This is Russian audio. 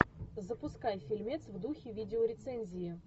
запускай фильмец в духе видеорецензии